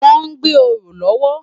Wòn gbé óró lòwò